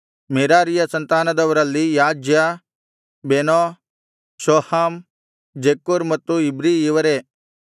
ಮೆರಾರೀಯ ಸಂತಾನದವರಲ್ಲಿ Jaaziah Beno Shoham Zaccur ಮತ್ತು Ibri ಇವರೇ